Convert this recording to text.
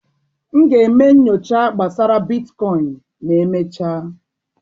M ga-eme nyocha gbasara bitkoịn ma emechaa.